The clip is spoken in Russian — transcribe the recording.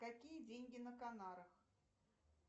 какие деньги на канарах